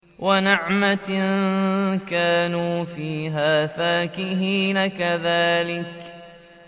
وَنَعْمَةٍ كَانُوا فِيهَا فَاكِهِينَ